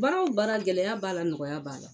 Baara o baara gɛlɛya b'a la nɔgɔya b'a la